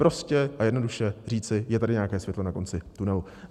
Prostě a jednoduše říci: je tady nějaké světlo na konci tunelu.